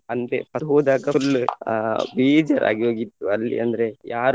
ಅಂದ್ರೆ ಅಲ್ಲಿ ಹೋದಾಗ full ಆ ಬೇಜಾರ್ ಆಗಿ ಹೋಗಿತ್ತು ಅಲ್ಲಿ ಅಂದ್ರೆ ಯಾರು.